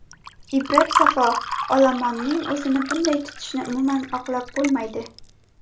Ibrat Safo Olomonning o‘zini bunday tutishini umuman oqlab bo‘lmaydi.